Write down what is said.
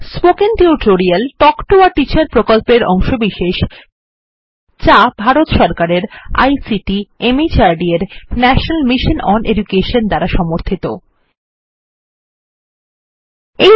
কথ্য tutorial project একটি শিক্ষক প্রকল্প থেকে টক শিক্ষা জাতীয় আইসিটি মাহর্দ ভারত সরকার মাধ্যমে মিশন দ্বারা সমর্থিত এর একটি অংশ